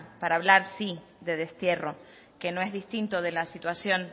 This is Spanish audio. para hablar sí de destierro que no es distinto de la situación